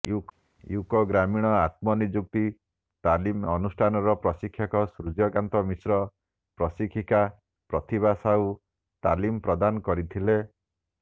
UCO ଗ୍ରାମୀଣ ଆତ୍ମନିଯୁକ୍ତି ତାଲିମ ଅନୁଷ୍ଠାନର ପ୍ରଶିକ୍ଷକ ସୂର୍ୟ୍ୟକାନ୍ତ ମିଶ୍ର ପ୍ରଶିକ୍ଷିକା ପ୍ରତିଭା ସାହୁ ତାଲିମ ପ୍ରଦାନ କରିଥିଲେ